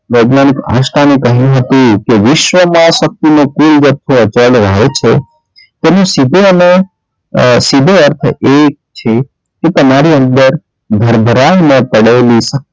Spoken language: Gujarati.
વૈજ્ઞાનિક આઇન્સ્ટાઇન એ કહ્યું હતું કે વિશ્વમાં શક્તિ નો કોઈ તેનો સીધો અને અ સીધો અર્થ એ છે કે તમારી અંદર ભરભરાયમાં પડેલી શક્તિ,